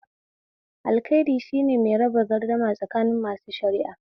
Alƙali shine mai raba gardama tsakanin masu shara'a.